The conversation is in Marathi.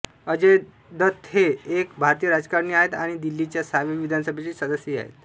अजय दत्त हे एक भारतीय राजकारणी आहेत आणि दिल्लीच्या सहाव्या विधानसभेचे सदस्य आहेत